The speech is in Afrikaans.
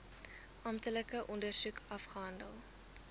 amptelike ondersoek afgehandel